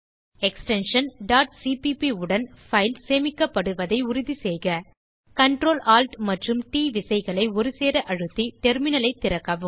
extension cpp உடன் file சேமிக்கப்படுவதை உறுதி செய்க Ctrl Alt மற்றும் ட் விசைகளை ஒருசேர அழுத்தி டெர்மினல் ஐ திறக்கவும்